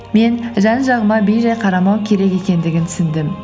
мен жан жағыма бейжай қарамау керек екендігін түсіндім